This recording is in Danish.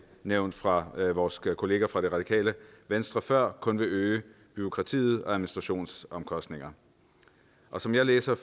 nævnt fra vores kollega fra det radikale venstre før kun vil øge bureaukratiet og administrationsomkostningerne som jeg læser